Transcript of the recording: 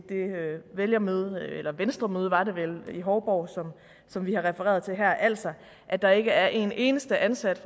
det vælgermøde eller venstremøde var det vel i hovborg som vi har refereret til her altså at der ikke er en eneste ansat